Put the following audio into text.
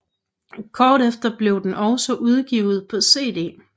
Kort efter blev den også udgivet på cd